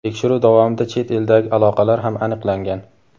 Tekshiruv davomida chet eldagi aloqalar ham aniqlangan.